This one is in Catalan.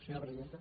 senyora presidenta